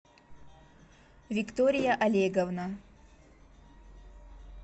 виктория олеговна